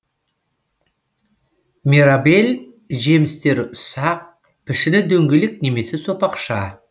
мирабель жемістері ұсақ пішіні дөңгелек немесе сопақша